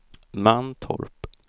Mantorp